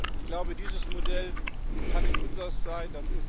Ich glaube, dieses Modell kann nicht unseres sein.